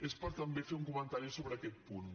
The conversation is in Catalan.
és per també fer un comentari sobre aquest punt